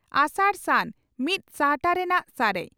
ᱟᱥᱟᱲᱼᱥᱟᱱ ᱢᱤᱛ ᱥᱟᱦᱴᱟ ᱨᱮᱱᱟᱜ ᱥᱟᱨᱮᱡ